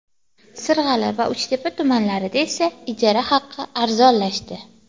Sirg‘ali va Uchtepa tumanlarida esa ijara haqi arzonlashdi.